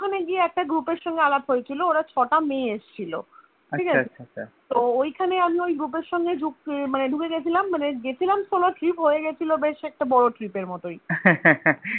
ওখানে গিয়ে একটা Group এর সঙ্গে আলাপ হয়েছিল ওরা ছটা মেয়ে এসেছিলো ঠিকাছে তো ঐখানে আমি ওই group এর সঙ্গে আহ মানে ঢুকে গেছিলাম মানে গেছিলাম Solo trip হয়ে গেছিলো বেশ একটা বড় trip এর মতই